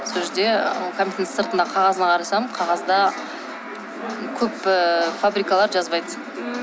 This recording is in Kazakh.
сол жерде і кәмпиттің сыртындағы қағазына қарасам қағазда көп ыыы фабрикалар жазбайды